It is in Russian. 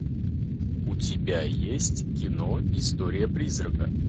у тебя есть кино история призрака